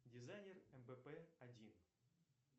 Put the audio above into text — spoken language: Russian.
дизайнер мбп один